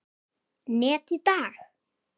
net í dag?